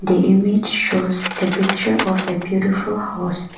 the image shows the picture of a beautiful house.